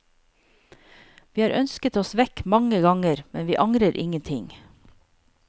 Vi har ønsket oss vekk mange ganger, men vi angrer ingenting.